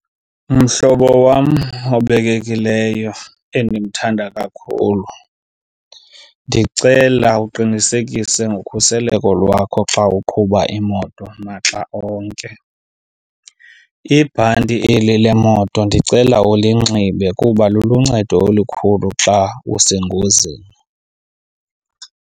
Mhlobo wam obekekileyo endimthanda kakhulu, ndicela uqinisekise ngokhuseleko lwakho xa uqhuba imoto maxa onke. Ibhanti eli lemoto ndicela ulinxibe kuba luluncedo olukhulu xa usengozini.